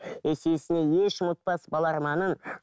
есесіне еш ұмытпас бала арманын